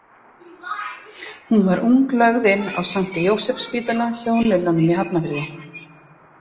Hún var ung lögð inn á St Jósefsspítala hjá nunnunum í Hafnarfirði.